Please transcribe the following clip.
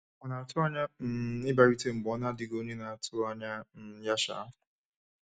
Ọ na-atụ anya um ịbịarute mgbe ọ na-adịghị onye na-atụ anya um ya. um